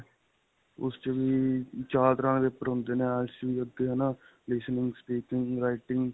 ਉਸ 'ਚ ਵੀ ਚਾਰ ਤਰ੍ਹਾਂ ਦੇ paper ਹੁੰਦੇ ਨੇ IELTS ਵਿੱਚ ਵੀ ਅੱਗੇ ਹੈ ਨਾ. listening, speaking, writing.